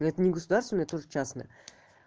ну это негосударственное тоже частное